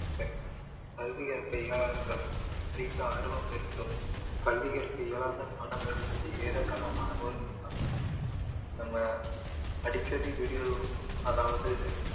சரி கல்வியை தெரியாதவங்க படிக்க ஆர்வம் இருக்கவங்க கல்விய தெரியாத மாணவர்கள் வந்து இருக்காங்க நம்ம அடிக்கடி video ல அதாவது